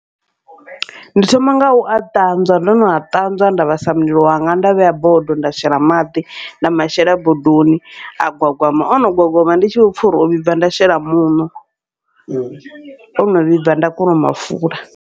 Ndi thoma ngau a ṱanzwa ndo no a ṱanzwa nda vhasa mulilo wanga nda vhea bodo nda shela maḓi, nda mashela bodoni a gwagwama ono gwagwama ndi tshi vho pfha uri o vhibva nda shela muṋo, ono vhibva nda kona u mafula.